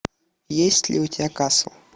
есть ли у тебя касл